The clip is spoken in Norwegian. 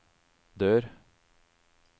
dør